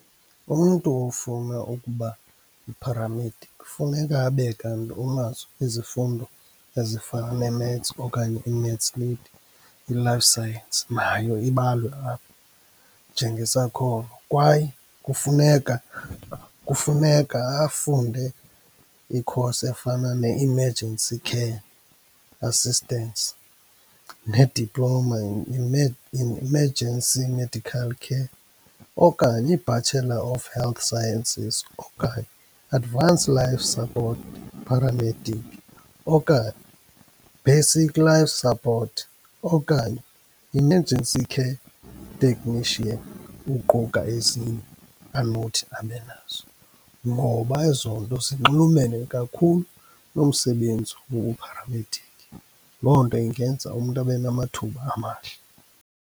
Umntu ofuna ukuba yi-paramedic kufuneka abe kanti unazo izifundo ezifana neMaths okanye iMaths Lit, i-Life Science nayo ibalwe apho njengesakhono. Kwaye kufuneka, kufuneka afunde i-course efana ne-Emergency Care Assistance, ne-Diploma in in Emergency Medical Care, okanye i-Bachelor of Health Sciences, okanye Advanced Life Support Paramedic, okanye Basic Life Support, okanye Emergency Care Technician uquka ezinye anothi abe nazo. Ngoba ezonto zinxulumene kakhulu nomsebenzi wobu-paramedic. Loo nto ingenza umntu abe namathuba amahle.